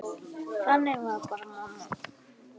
Þannig var bara mamma.